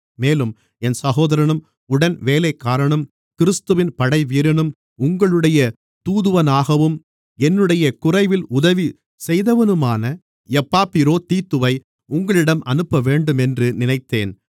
மேலும் என் சகோதரனும் உடன்வேலைக்காரனும் கிறிஸ்துவின் படைவீரனும் உங்களுடைய தூதுவனாகவும் என்னுடைய குறைவில் உதவி செய்தவனுமான எப்பாப்பிரோதீத்துவை உங்களிடம் அனுப்பவேண்டும் என்று நினைத்தேன்